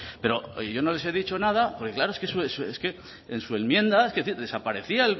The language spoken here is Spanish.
pero yo no les he dicho nada claro que en su enmienda desaparecía